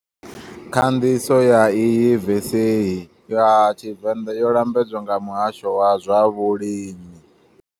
Khanḓiso ya iyi vesehi ya Tshivenda yo lambedzwa nga muhasho wa zwa vhulimi.